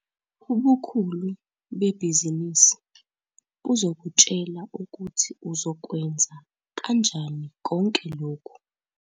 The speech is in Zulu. Ubukhulu bebhizinisi buzokutshela ukuthi uzokwenza kanjani konke lokhu.